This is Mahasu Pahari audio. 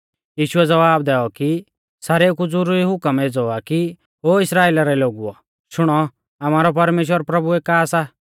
यीशुऐ ज़वाब दैऔ कि सारेउ कु ज़ुरुरी हुकम एज़ौ आ कि ओ इस्राइला रै लोगुओ शुणौ आमारौ परमेश्‍वर प्रभु एका सा